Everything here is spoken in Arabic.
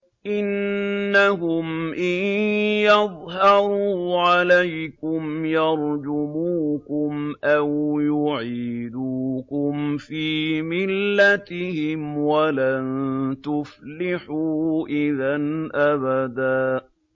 إِنَّهُمْ إِن يَظْهَرُوا عَلَيْكُمْ يَرْجُمُوكُمْ أَوْ يُعِيدُوكُمْ فِي مِلَّتِهِمْ وَلَن تُفْلِحُوا إِذًا أَبَدًا